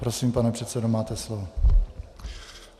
Prosím, pane předsedo, máte slovo.